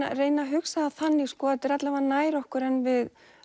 að reyna að hugsa það þannig að þetta er alla vega nær okkur en við